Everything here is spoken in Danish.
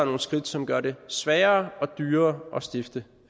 nogle skridt som gør det sværere og dyrere at stifte